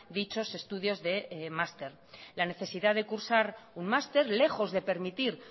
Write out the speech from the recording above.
dichos estudios de máster la necesidad de cursar un máster lejos de permitir